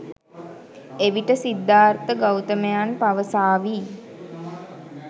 එවිට සිද්ධාර්ථ ගෞතමයන් පවසාවි.